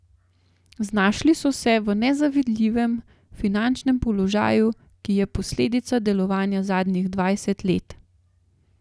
Znašli so se v nezavidljivem finančnem položaju, ki je posledica delovanja zadnjih dvajsetih let.